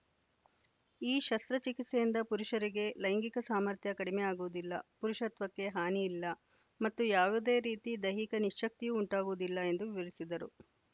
ಈ ಶಸ್ತ್ರಚಿಕಿತ್ಸೆಯಿಂದ ಪುರುಷರಿಗೆ ಲೈಂಗಿಕ ಸಾಮರ್ಥ್ಯ ಕಡಿಮೆ ಆಗುವುದಿಲ್ಲ ಪುರುಷತ್ವಕ್ಕೆ ಹಾನಿಯಿಲ್ಲ ಮತ್ತು ಯಾವುದೇ ರೀತಿ ದೈಹಿಕ ನಿಶ್ಯಕ್ತಿಯೂ ಉಂಟಾಗುವುದಿಲ್ಲ ಎಂದು ವಿವರಿಸಿದರು